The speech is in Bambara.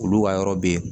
Olu ka yɔrɔ be yen